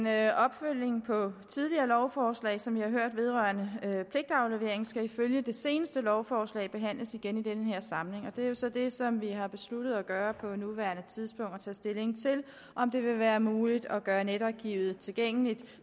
er en opfølgning på et tidligere lovforslag som vi har hørt vedrørende pligtaflevering skal ifølge det seneste lovforslag behandles igen i den her samling og det er så det som vi har besluttet at gøre på nuværende tidspunkt og tage stilling til om det vil være muligt at gøre netarkivet tilgængeligt